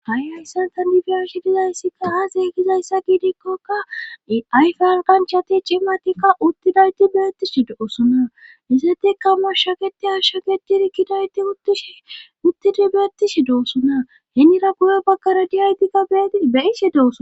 ha7i hayssan ta difiyarshi dizayssikka aase gizayssa giidikkoka ayfan kanchati cimatikka uttidayti beyettishi doosona izete ka moshsho keti asho getiri kidayti tshuttidi beettishi doossona henira guyo bakkara diyaytikka beti beise dooso